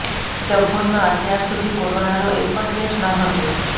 ડભોઇમા અત્યાર સુધી કોરોનાનો એક પણ કેસ ન હતો